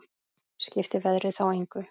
Skipti veðrið þá engu.